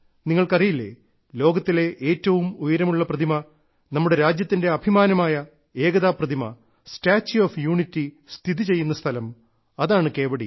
നിങ്ങൾക്കറിയില്ലേ ലോകത്തിലെ ഏറ്റവും ഉയരമുള്ള പ്രതിമ നമ്മുടെ രാജ്യത്തിന്റെ അഭിമാനമായ ഏകതാ പ്രതിമസ്റ്റാച്യു ഓഫ് യൂണിറ്റിസ്ഥിതിചെയ്യുന്ന സ്ഥലം അതാണ് കേവഡിയ